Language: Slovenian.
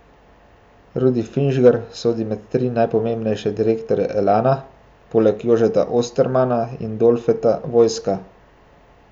Rudi Finžgar sodi med tri najpomembnejše direktorje Elana, poleg Jožeta Ostermana in Dolfeta Vojska.